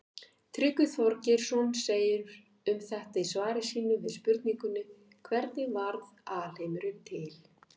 Tryggvi Þorgeirsson segir um þetta í svari sínu við spurningunni Hvernig varð alheimurinn til?